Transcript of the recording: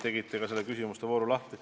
Tegite ka nende küsimuste vooru lahti.